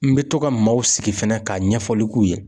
N bɛ to ka maaw sigi fɛnɛ k'a ɲɛfɔli k'u ye.